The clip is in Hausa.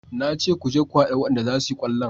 Na ce ku je ku hada wayanda za su yi kwallon